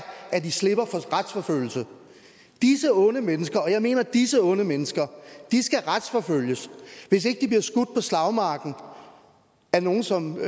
at de slipper for strafforfølgelse disse onde mennesker og jeg mener disse onde mennesker skal retsforfølges hvis ikke de bliver skudt på slagmarken af nogle som kan